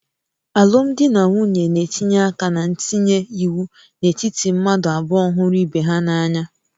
Alụmdi na nwunye na-etinye aka na ntinye iwu n'etiti mmadụ abụọ hụrụ ibe ha n'anya